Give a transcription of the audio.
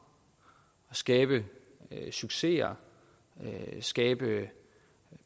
skabe succeser skabe